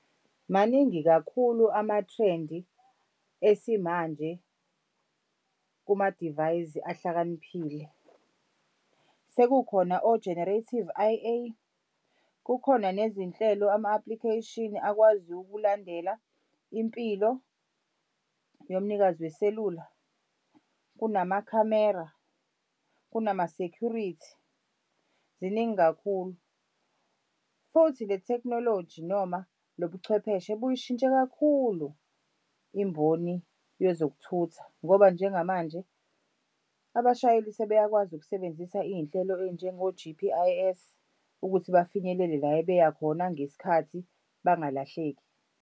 Maningi kakhulu amathrendi esimanje kumadivayizi ahlakaniphile. Sekukhona o-generative I_A, kukhona nezinhlelo ama-application akwazi ukulandela impilo yomnikazi weselula, kunamakhamera, kunama-security. Ziningi kakhulu, futhi le tekhnoloji noma lo buchwepheshe buyishintshile kakhulu imboni yezokuthutha ngoba njengamanje abashayeli sebeyakwazi ukusebenzisa iy'nhlelo ey'njengo-G_P_I_S ukuthi bafinyelele la ebeya khona ngesikhathi bangalahleki.